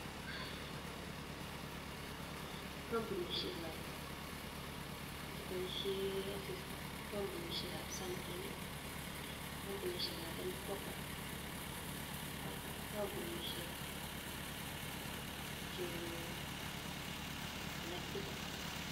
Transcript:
Kampunishiek chebaishe asista kokampunisiek ap sunking ak kampunisiek ap m-kopa ak kampunishek alak chechang.